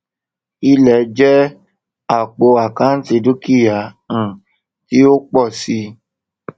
ilẹ jẹ àpò àkántì dúkìá um tí ó ń pọ si